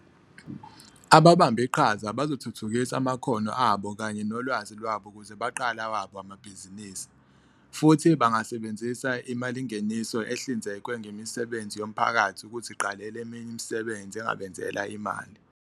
Ababambe iqhaza bazothuthukisa amakhono abo kanye nolwazi lwabo ukuze baqale awabo amabhizinisi, futhi bangasebenzisa imalingeniso ehlinzekwe ngemisebenzi yomphakathi ukuziqalela eminye imisebenzi engabenzela imali.